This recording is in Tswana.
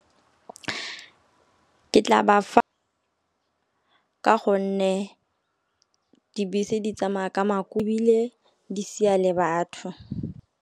Ke tla ba fa ka gonne dibese di tsamaya ka makubile di sia le batho.